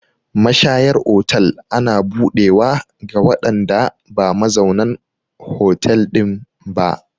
Mashayar otal ana buɗewa ga waɗanda ba mazaunan hotel ɗin ba.